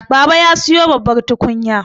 baba ya siyo babbar tukunya